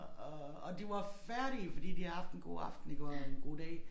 Og og og de var færdige fordi de havde haft en god aften iggå og en god dag